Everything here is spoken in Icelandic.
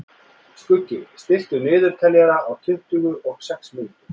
Skuggi, stilltu niðurteljara á tuttugu og sex mínútur.